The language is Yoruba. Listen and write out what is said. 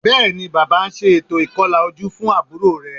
Bẹ́ẹ̀ni, Bàbá ń ṣe ètò ìkọlà ojú fún àbúrò rẹ̀